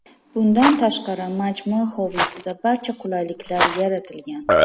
Bundan tashqari majmua hovlisida barcha qulayliklar yaratilgan.